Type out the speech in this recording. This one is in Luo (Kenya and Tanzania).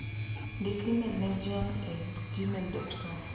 Ndiki imel ne John e gmail.com.